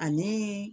Ani